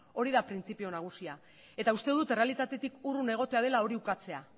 hori da printzipio nagusia eta uste dut errealitatetik urrun egotea dela hori ukatzea